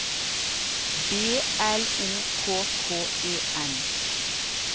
B L O K K E N